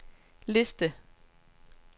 liste